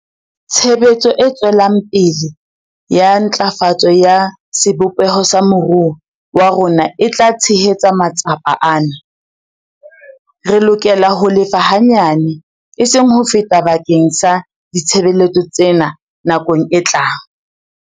Tshebetso e tswelang pele ya ntlafatso ya sebopeho sa moruo wa rona e tla tshehetsa matsapa ana. Re lokela ho lefa hanyane, eseng ho feta bakeng sa ditshebeletso tsena nakong e tlang.